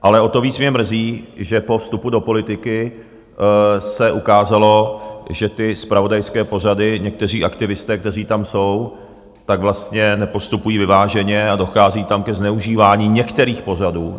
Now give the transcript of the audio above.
Ale o to víc mě mrzí, že po vstupu do politiky se ukázalo, že ty zpravodajské pořady, někteří aktivisté, kteří tam jsou, tak vlastně nepostupují vyváženě a dochází tam ke zneužívání některých pořadů.